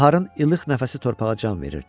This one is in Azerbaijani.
Baharın ilıq nəfəsi torpağa can verirdi.